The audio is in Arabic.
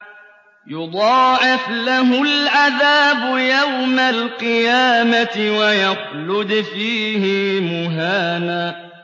يُضَاعَفْ لَهُ الْعَذَابُ يَوْمَ الْقِيَامَةِ وَيَخْلُدْ فِيهِ مُهَانًا